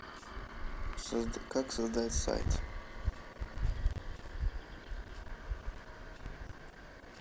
как создать сайт